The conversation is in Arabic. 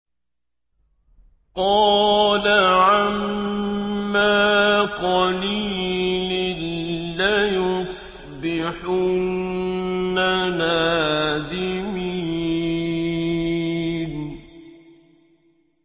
قَالَ عَمَّا قَلِيلٍ لَّيُصْبِحُنَّ نَادِمِينَ